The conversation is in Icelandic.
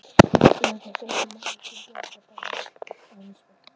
Eru kannski öllum manneskjum bjargir bannaðar, ekki aðeins mér?